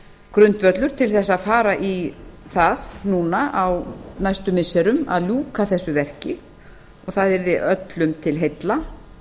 grundvöllur til þess að fara í það núna á næstu missirum að ljúka þessu verki og það yrði öllum til heilla